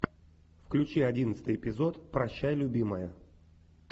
включи одиннадцатый эпизод прощай любимая